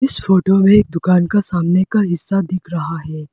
इस फोटो में एक दुकान का सामने का हिस्सा दिख रहा है।